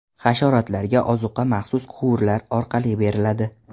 Hasharotlarga ozuqa maxsus quvurlar orqali beriladi.